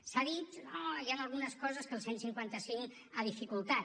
s’ha dit no hi han algunes coses que el cent i cinquanta cinc ha dificultat